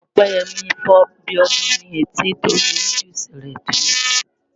Ọpẹ́yẹmí fọ́ Bíọ́dún létí nitori núdúùsù rẹ̀ tó jẹ.